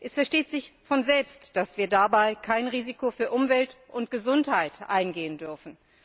Es versteht sich von selbst, dass wir dabei kein Risiko für Umwelt und Gesundheit eingehen dürfen.